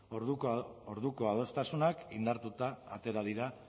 orduko adostasunak indartuta atera dira